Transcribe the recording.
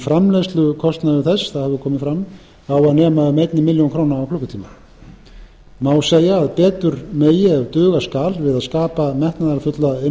framleiðslukostnaður þess það hefur komið ara á að nema um eina milljón króna á klukkutíma má segja að betur megi ef duga skal við að skapa metnaðarfulla